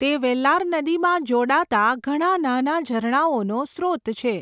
તે વેલ્લાર નદીમાં જોડાતા ઘણા નાના ઝરણાઓનો સ્રોત છે.